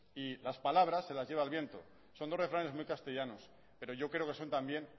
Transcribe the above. y las palabras de las lleva el viento son dos refranes muy castellanos pero yo creo que son también